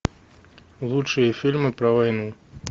лучшие фильмы про войну